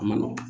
A ma nɔgɔn